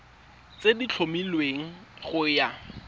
tse di tlhomilweng go ya